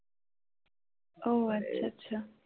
ও আচ্ছা আচ্ছা ।